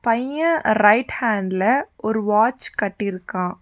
பைய ரைட் ஹாண்ட்ல ஒரு வாட்ச் கட்டிருக்கா.